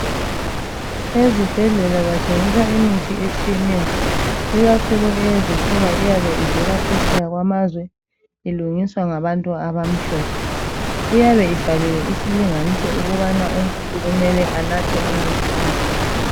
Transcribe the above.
Ezibhedlela bathengisa imithi etshiyeneyo, ikakhulu eyezifuba eyabe ivhela phetsheya kwamazwe ilungiswa ngabantu abamhlophe. Iyabe ibhaliwe isilinganiso ukubana umuntu kumele anathe umuthi onganani.